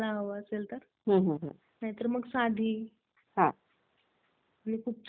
हा हा . खूप चांगले वाटते छान वाटलं मला एकंदरीत